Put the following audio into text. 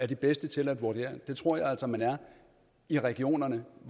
de bedste til at vurdere mig det tror jeg altså man er i regionerne